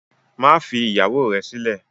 Má fi ìyàwó rẹ̀ sílẹ̀!